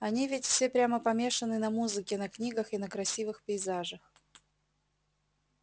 они ведь все прямо помешаны на музыке на книгах и на красивых пейзажах